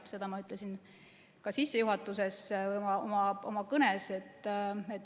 Seda ma ütlesin ka sissejuhatuses oma kõnes.